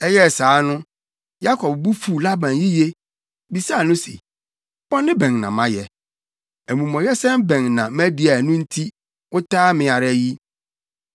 Ɛyɛɛ saa no, Yakob bo fuw Laban yiye, bisaa no se, “Bɔne bɛn na mayɛ? Amumɔyɛsɛm bɛn na madi a ɛno nti, woataa me ara yi?”